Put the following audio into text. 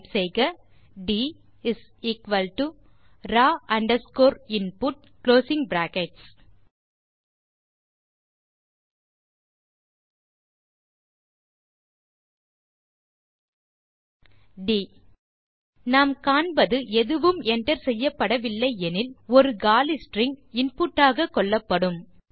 type செய்க ட் raw underscore input ட் நாம் காண்பது எதுவும் enter செய்யப்படவில்லை எனில் ஒரு காலி ஸ்ட்ரிங் இன்புட் ஆக கொள்ளப்படும்